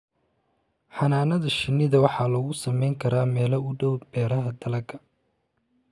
Xannaanada shinnida waxaa lagu samayn karaa meel u dhow beeraha dalagga.